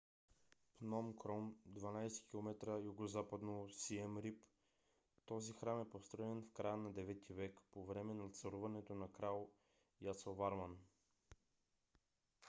пном кром 12 км югозападно от сием рип. този храм е построен в края на 9 - ти век по време на царуването на крал ясоварман